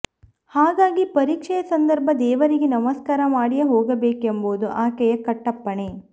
ಹಾಗಾಗಿ ಪರೀಕ್ಷೆಯ ಸಂದರ್ಭ ದೇವರಿಗೆ ನಮಸ್ಕಾರ ಮಾಡಿಯೇ ಹೋಗಬೇಕೆಂಬುದು ಆಕೆಯ ಕಟ್ಟಪ್ಪಣೆ